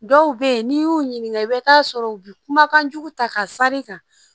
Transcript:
Dɔw bɛ yen n'i y'u ɲininka i bɛ taa sɔrɔ u bɛ kumakan jugu ta ka sari kan